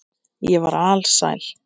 Ég var alsæl.